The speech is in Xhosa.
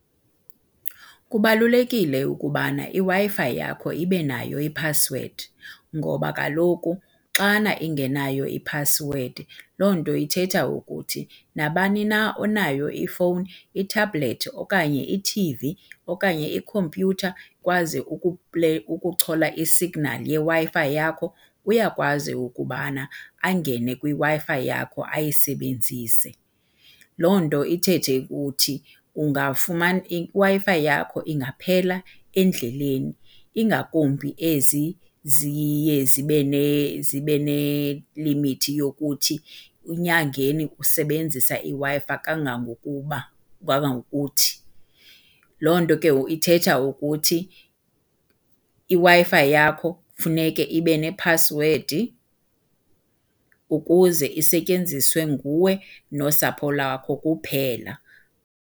Kubalulekile ukubana iWi-Fi yakho ibe nayo iphasiwedi ngoba kaloku xana ingenayo iphasiwedi loo nto ithetha ukuthi nabani na onayo ifowuni, ithabhulethi okanye i-T_V okanye ikhompyutha kwaze ukuchola isignali yeWi-Fi yakho uyakwazi ukubana angene kwiWi-Fi yakho ayisebenzise. Loo nto ithethe ukuthi iWi-Fi yakho ingaphela endleleni, ingakumbi ezi ziye zibe , zibe nelimithi yokuthi enyangeni usebenzisa iWi-Fi kangangokuba kangangokuthi. Loo nto ke ithetha ukuthi iWi-Fi yakho funeke ibe nephasiwedi ukuze isetyenziswe nguwe nosapho lwakho kuphela.